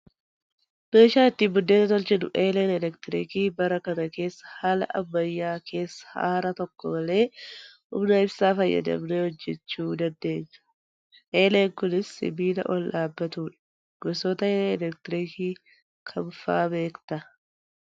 Meeshaan ittiin buddeena tolchinu eeleen elektiriikii bara kana keessa haala ammayyaa keessa aara tokko malee humna ibsaa fayyadamnee hojjachuu dandeenya. Eeleen kunis sibiila ol dhaabatudha. Gosoota eelee elektiriikii kam fa'aa beektaa?